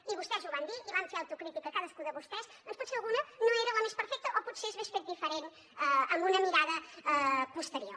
i vostès ho van dir i van fer autocrítica cadascú de vostès potser alguna no era la més perfecta o potser s’hagués fet diferent amb una mirada posterior